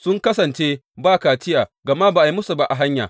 Sun kasance ba kaciya gama ba a yi musu ba a hanya.